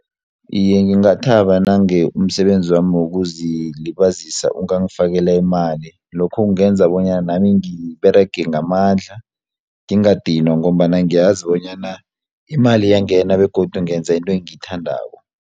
Iye, ngingathaba nange umsebenzi wami wokuzilibazisa ungangifakela imali lokho kungenza bonyana nami ngiberege ngamandla ngingadinwa ngombana ngiyazi bonyana imali iyangena begodu ngenza into engiyithandako.